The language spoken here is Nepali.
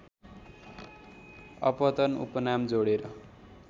अपतन उपनाम जोडेर